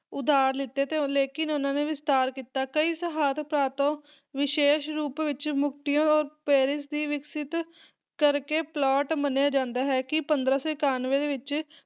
ਉਧਾਰ ਲੀਤੇ ਤੇ ਉਹ ਲੇਕਿਨ ਉਹਨਾਂ ਨੇ ਵੀ ਵਿਸਤਾਰ ਕੀਤਾ। ਕਈ ਸਹਾਇਤਕਾਰ ਤੋਂ ਵਿਸ਼ੇਸ ਰੂਪ ਵਿੱਚ ਮਰਕੁਟੀਓ ਔਰ ਪੈਰਿਸ ਦੀ ਵਿਕਸਤ ਕਰਕੇ ਪਲਾਟ ਮੰਨਿਆ ਜਾਂਦਾ ਹੈ ਕੀ ਪੰਦਰਾਂ ਸੌ ਇਕਾਨਵੇਂ ਦੇ ਵਿੱਚ